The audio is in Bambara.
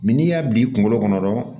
n'i y'a bi kunkolo kɔnɔ dɔrɔn